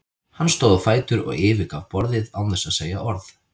Hann stóð á fætur og yfirgaf borðið án þess að segja orð.